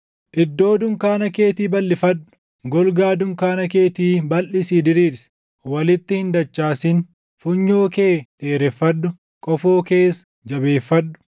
“Iddoo dunkaana keetii balʼifadhu; golgaa dunkaana keetii balʼisii diriirsi; walitti hin dachaasin; funyoo kee dheereffadhu; qofoo kees jabeeffadhu.